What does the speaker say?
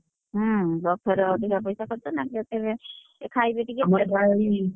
ହୁଁ, buffet ରେ ଅଧିକା ପଇସା ଖର୍ଚ ନା ଏଥିରେ ଏଇ ଖାଇବେଟିକେ,